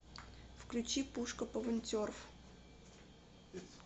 включи пушка пвнтерв